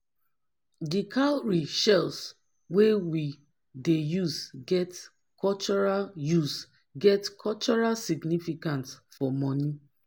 di cowrie shells wey we dey use get cultural use get cultural significance for money